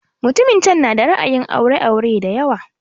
Mutumin can na da ra'ayin aure aure da yawa